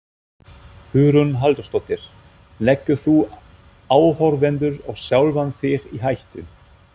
Hugrún Halldórsdóttir: Leggur þú áhorfendur og sjálfan þig í hættu?